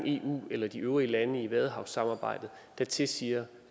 eu eller de øvrige lande i vadehavssamarbejdet der tilsiger